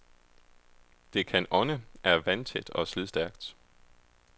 Det kan ånde, er vandtæt og slidstærkt.